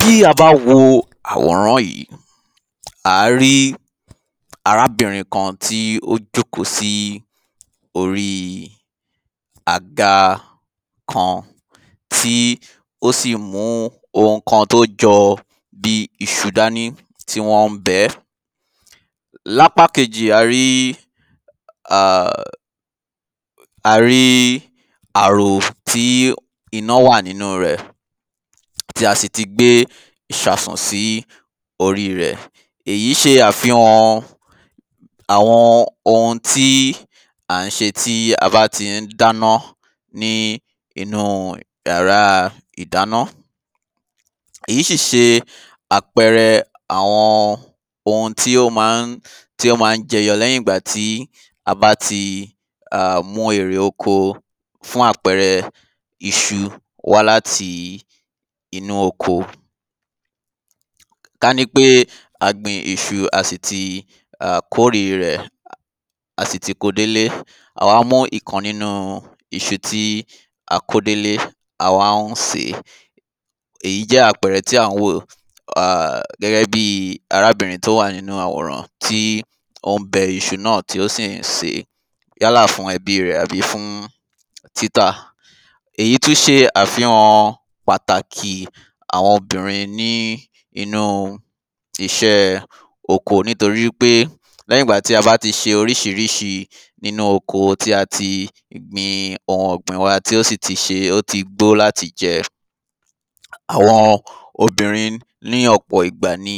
Tí a bá wo àwòrán yìí à á rí arábìnrin kan tí ó jókòó sí orí àga kan tí ó sì mú ohun kan tó jọ bí iṣu dání tí wọ́n ń bẹ́. Lápá kejì a rí um a rí àrò tí iná wà nínú rẹ̀ tí a sì ti gbé ìsasùn sí orí. Èyí ṣe àfihàn àwọn ohun tí à ń ṣe tí a bá ti ń dáná ní inú yàrá ìdáná. Èyí sì ṣe àpẹrẹ àwọn ohun tí ó má ń tí ó má ń jẹyọ̀ léyìn ìgbà tí a bá ti um mú erè oko fún àpẹrẹ iṣu wá láti inú oko Kání pé a gbin iṣu a sì ti kórè rẹ̀ a sì ti kó délé a wá mú ìkan nínú iṣu tí a kó délé a wá ń sèé. Èyí jẹ́ àpẹrẹ tí à ń wò gẹ́gẹ́ bí arábìnrin tí ó wà nínú àwòrán tí ó ń bẹ iṣu náà tí ó sì ń sèé yálà fún ẹbí rẹ̀ àbí fún títà. Èyí tún ṣe àfihàn pàtàkì àwọn obìnrin ní inú iṣẹ́ oko nítoríwípé lẹ́yìn ìgbà tí a bá ti ṣe oríṣiríṣi nínú oko tí a ti gbin ohun ọ̀gbìn wa tí ó sì ṣe tí ó ti gbó láti jẹ. Àwọn obìnrin ní ọ̀pọ̀ ìgbà ni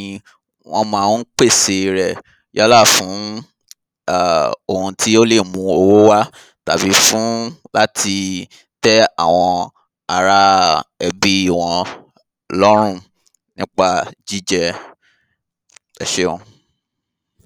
wọ́n má ń pèsè rẹ̀ yálà fún um ohun tí ó lè mú owó wá tàbí fún láti tẹ́ àwọn ará ẹbí wọn lọ́rùn nípa jíjẹ ẹṣeun.